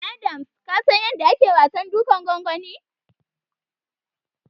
Adams ka san yanda ake wasan dukan gwangwani?